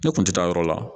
Ne kun tɛ taa yɔrɔ la